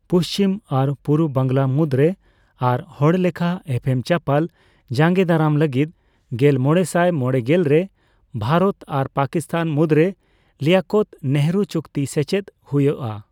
ᱯᱩᱪᱷᱤᱢ ᱟᱨ ᱯᱩᱨᱵᱚ ᱵᱟᱝᱞᱟ ᱢᱩᱫ ᱨᱮ ᱟᱨ ᱦᱚᱲᱞᱮᱠᱷᱟ ᱮᱯᱮᱢᱼᱪᱟᱯᱟᱞ ᱡᱟᱸᱜᱮ ᱫᱟᱨᱟᱢ ᱞᱟᱹᱜᱤᱫ ᱜᱮᱞᱢᱚᱲᱮᱥᱟᱭ ᱢᱚᱲᱮᱜᱮᱞ ᱨᱮ ᱵᱷᱟᱨᱚᱛ ᱟᱨ ᱯᱟᱠᱤᱥᱛᱷᱟᱱ ᱢᱩᱫᱨᱮ ᱞᱤᱭᱟᱠᱚᱛᱼᱱᱮᱦᱨᱩ ᱪᱩᱠᱛᱤ ᱥᱮᱪᱮᱫ ᱦᱚᱭᱩᱜ ᱟ ᱾